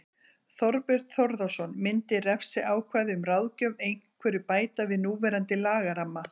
Þorbjörn Þórðarson: Myndi refsiákvæði um ráðgjöf einhverju bæta við núverandi lagaramma?